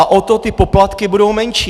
A o to ty poplatky budou menší.